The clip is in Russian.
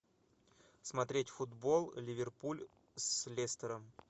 смотреть футбол ливерпуль с лестером